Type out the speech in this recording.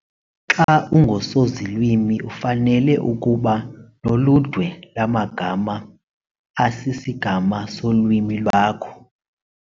Xa ungusozilwimi ufanele ukuba noludwe lwamagama asisigama solwimi lwakho